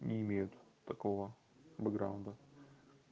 не имеют такого б-граунда